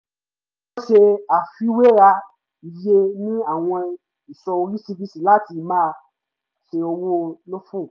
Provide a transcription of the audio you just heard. wọ́n ṣe àfiwéra iye ní àwọn ìsọ̀ oríṣiríṣi láti má ṣe owó lófò